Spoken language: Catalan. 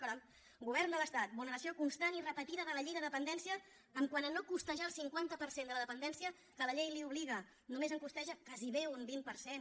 caram govern de l’estat vulneració constant i repetida de la llei de dependència quant a no costejar el cinquanta per cent de la dependència a què la llei l’obliga només en costeja gairebé un vint per cent